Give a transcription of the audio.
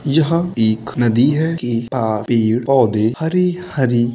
यहाँ एक नदी है। के पार पेड़ पौधे हरे-हरे --